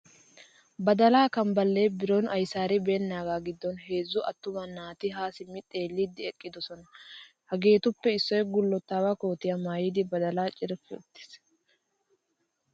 Badalaa kambballe biron ayisaaribeennaagaa giddon heezzu attuma asati haa simmi xeelliiddi eqqidosona. Hageetuppe issoy gullottaawa kootiya mayyidi badalaa carppi uttis.